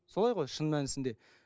солай ғой шын мәнісінде